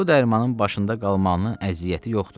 Bu dərmanın başında qalmağın əziyyəti yoxdur.